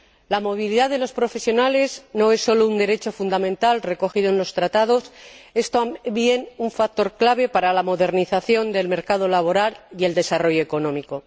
La movilidad de los profesionales no es solo un derecho fundamental recogido en los Tratados, es también un factor clave para la modernización del mercado laboral y el desarrollo económico.